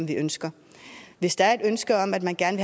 de ønsker hvis der er et ønske om at man gerne